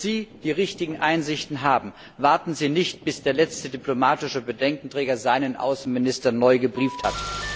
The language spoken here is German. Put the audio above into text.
Wenn Sie die richtigen Einsichten haben, warten Sie nicht, bis der letzte diplomatische Bedenkenträger seinen Außenminister neu gebrieft hat.